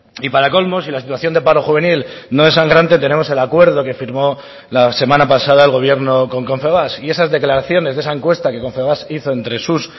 y para colmo si la situación de paro juvenil no es sangrante tenemos el acuerdo que firmó la semana pasada el gobierno con confebask y esas declaraciones de esa encuesta que confebask hizo entre sus